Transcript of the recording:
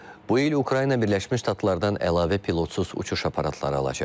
Bu il Ukrayna Birləşmiş Ştatlardan əlavə pilotsuz uçuş aparatları alacaq.